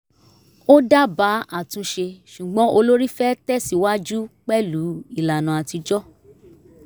ó dábàá àtúnṣe ṣùgbọ́n olórí fẹ́ tẹ̀síwájú pẹ̀lú ìlànà atijọ́